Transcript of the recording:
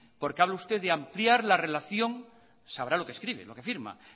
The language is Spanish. porque habla usted de ampliar la relación sabrá lo que escribe lo que firma